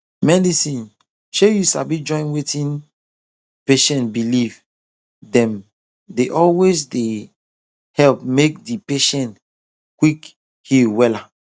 medicine shey you sabi join wetin patient believe dem dey always dey help make di patient quick heal wella